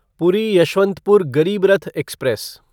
पूरी यशवंतपुर गरीब रथ एक्सप्रेस